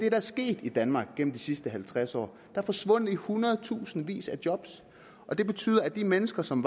er sket i danmark gennem de sidste halvtreds år er forsvundet i hundredtusindvis af job og det betyder at de mennesker som